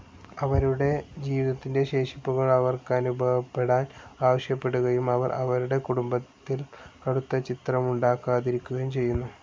അവരുടെ ജീവിതത്തിൻ്റെ ശേഷിപ്പുകൾ അവർക്കനുഭവപ്പെടാൻ ആവശ്യപ്പെടുകയും അവർ അവരുടെ കുടുംബത്തിൽ കടുത്ത ചിത്രമുണ്ടാക്കാതിരിക്കുകയും ചെയ്യുന്നു.